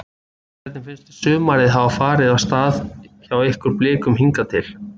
Hvernig finnst þér sumarið hafa farið af stað hjá ykkur Blikum hingað til?